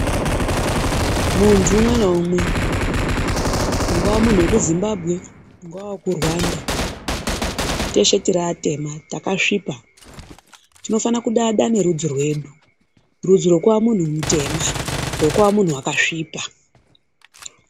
Muntu umwe naumwe ungaa munthu weku Zimbabwe ungaa wekuRwanda teshe tiri atema takasvipa, tinofana kudada nerudzi rwedu, rudzi rwekuva munthu mutema rekuva munthu wakasvipa.